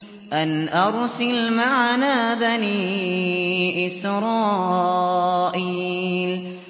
أَنْ أَرْسِلْ مَعَنَا بَنِي إِسْرَائِيلَ